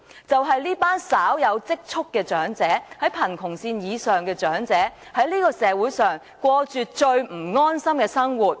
這群稍有積蓄、活在貧窮線以上的長者，在社會上過着最不安心的生活。